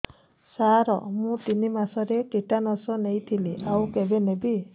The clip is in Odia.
ସାର ମୁ ତିନି ମାସରେ ଟିଟାନସ ନେଇଥିଲି ଆଉ କେବେ ନେବି